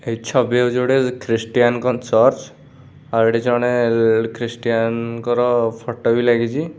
ଏ ଛବି ରେ ଯୋଡେ ଖ୍ରୀଷ୍ଟିଆନ୍ ଙ୍କ ଚର୍ଚ୍ଚ ଆଉ ଏଠି ଜଣେ ଖ୍ରୀଷ୍ଟିଆନ୍ ଙ୍କର ଫଟୋ ବି ଲାଗିଚି।